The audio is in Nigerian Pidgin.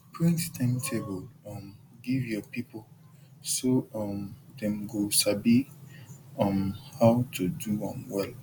print timetable um give your people so um dem go sabi um how to do am well